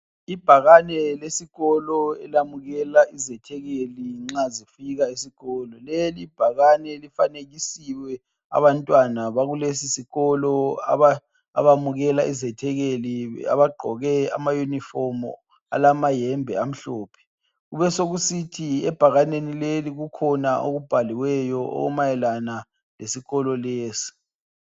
Ibhakane lesikolo elamukela izethekeli nxa zifika esikolo leli ibhakane lifanekisiwe abantwana baku lesisikolo abamukela izethekeli abagqoke ama yunifomu alamayembe amhlophe, kube sokusithi ebhakaneni leli kukhona okubhaliweyo okumayelana lesikolo lesi.